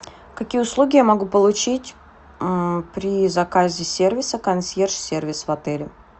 какие услуги я могу получить при заказе сервиса консьерж сервис в отеле